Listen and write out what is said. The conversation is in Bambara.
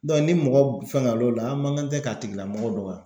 ni mɔgɔ fɛngɛ l'o la an man kan tɛ k'a tigi lamɔgɔ dɔgɔya.